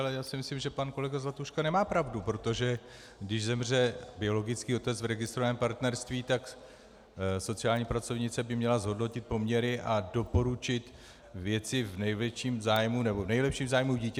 Ale já si myslím, že pan kolega Zlatuška nemá pravdu, protože když zemře biologický otec v registrovaném partnerství, tak sociální pracovnice by měla zhodnotit poměry a doporučit věci v nejlepším zájmu dítěte.